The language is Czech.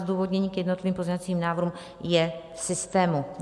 Zdůvodnění k jednotlivým pozměňovacím návrhům je v systému.